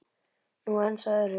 Nú aðeins að öðru.